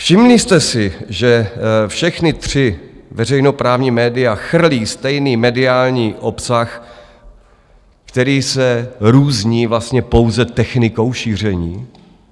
Všimli jste si, že všechna tři veřejnoprávní média chrlí stejný mediální obsah, který se různí vlastně pouze technikou šíření?